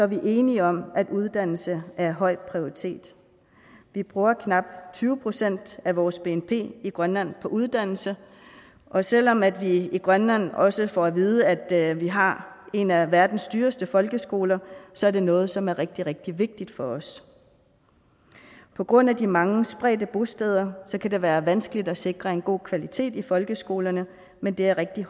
vi enige om at uddannelse er høj prioritet vi bruger knap tyve procent af vores bnp i grønland på uddannelse og selv om vi i grønland også får at vide at vi har en af verdens dyreste folkeskoler så er det noget som er rigtig rigtig vigtigt for os på grund af de mange spredte bosteder kan det være vanskeligt at sikre en god kvalitet i folkeskolerne men det er af rigtig